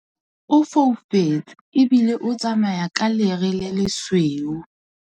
O foufetse ebile o tsamaya ka lere le lesweu.